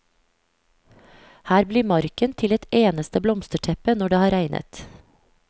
Her blir marken til et eneste blomsterteppe når det har regnet.